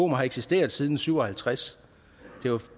har eksisteret siden nitten syv og halvtreds